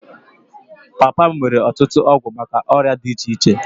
Papa m nwere ọtụtụ ọgwụ maka ọrịa dị iche iche